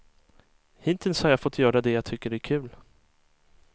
Hittills har jag fått göra det jag tycker är kul.